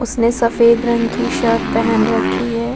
उसने सफ़ेद रंग की शर्ट पहन राखी है।